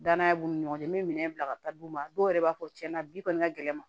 Danaya b'u ni ɲɔgɔn cɛ n be minɛn bila ka taa d'u ma dɔw yɛrɛ b'a fɔ cɛn na bi kɔni ka gɛlɛn ma